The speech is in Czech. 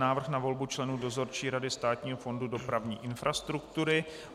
Návrh na volbu členů Dozorčí rady Státního fondu dopravní infrastruktury